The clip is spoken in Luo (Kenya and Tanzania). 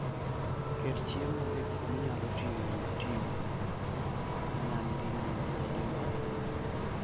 Ket chiemo e gik minyalo tigo nyadinwoya.